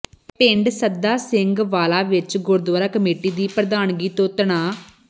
ਪਿੰਡ ਸੱਦਾ ਸਿੰਘ ਵਾਲਾ ਵਿੱਚ ਗੁਰਦੁਆਰਾ ਕਮੇਟੀ ਦੀ ਪ੍ਰਧਾਨਗੀ ਤੋਂ ਤਣਾਅ